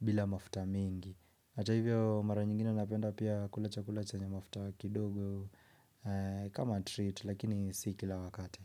bila mafuta mingi. Hata hivyo mara nyingine napenda pia kula chakula chenye mafuta kidogo kama treat lakini si kila wakati.